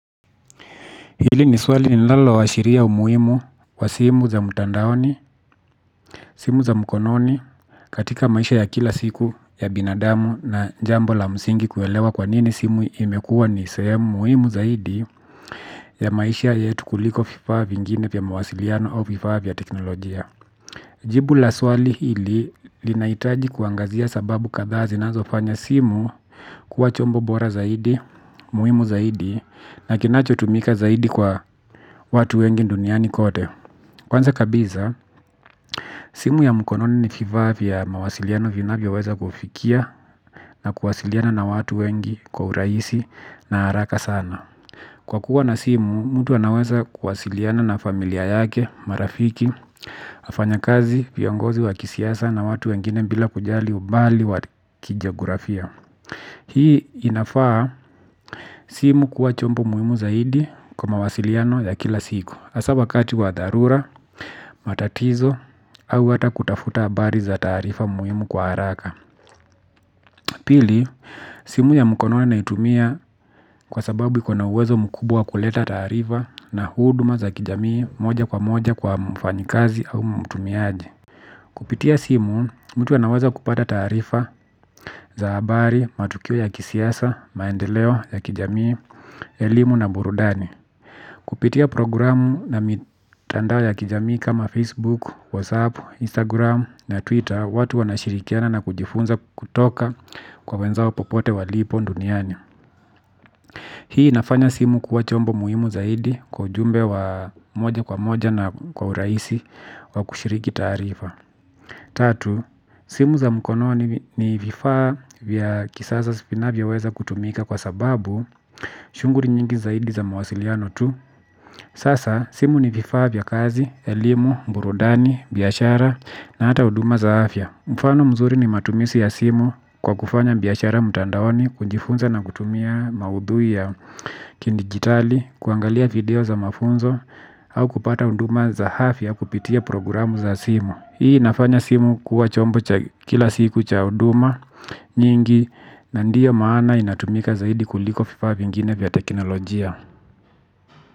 Hili ni swali nilaloashiria umuimu wa simu za mtandaoni, simu za mkononi, katika maisha ya kila siku ya binadamu na jambo la msingi kuelewa kwa nini simu imekua ni sehemu muimu zaidi ya maisha yetu kuliko vifaa vingine pia mawasiliano au vifa vya teknolojia. Jibu la swali hili linaitaji kuangazia sababu kadhaa zinazofanya simu kuwa chombo bora zaidi, muhimu zaidi, na kinachotumika zaidi kwa watu wengi duniani kote. Kwanza kabiza, simu ya mkononi ni vifaa vya mawasiliano vinavyoweza kufikia na kuwasiliana na watu wengi kwa uraisi na haraka sana. Kwa kuwa na simu, mtu anaweza kuwasiliana na familia yake, marafiki, wafanyakazi, viongozi wa kisiasa na watu wengine bila kujali ubali wa kijagurafia. Hii inafaa simu kuwa chombo muhimu zaidi kwa mawasiliano ya kila siku. Hasa wakati wa dharura, matatizo, au hata kutafuta habari za tarifa muhimu kwa haraka. Pili, simu ya mkononi naitumia kwa sababu iko na uwezo mkubwa kuleta tarifa na huduma za kijamii moja kwa moja kwa mfanyikazi au mtumiaji. Kupitia simu, mtu anaweza kupata taarifa za habari matukio ya kisiasa, maendeleo ya kijamii, elimu na burudani. Kupitia programu na mitandao ya kijamii kama Facebook, Whatsapp, Instagram na Twitter. Watu wanashirikiana na kujifunza kutoka kwa wenzao popote walipo nduniani. Hii nafanya simu kuwa chombo muhimu zaidi kwa ujumbe wa moja kwa moja na kwa uraisi kwa kushiriki tarifa. Tatu, simu za mkono ni vifaa vya kisasa spinavyoweza kutumika kwa sababu shuguri nyingi zaidi za mawasiliano tu sasa simu ni vifaa vya kazi, elimu, burudani, biashara na hata uduma za afya. Mfano mzuri ni matumizi ya simu kwa kufanya biyashara mtandaoni. Kunjifunza na kutumia maudhui ya kindigitali. Kuangalia video za mafunzo au kupata uduma za afia kupitia programu za simu. Hii nafanya simu kuwa chombo kila siku cha uduma nyingi na ndiyo maana inatumika zaidi kuliko viafa vingine vya teknolojia.